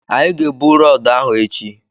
Anyị ga-ebu rọọdụ ahụ echi